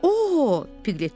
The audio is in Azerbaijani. O, Piqlet dedi.